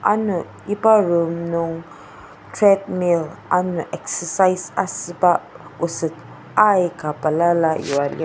ano iba room nung treadmill ano exercise asüba oset aika balala yua lir.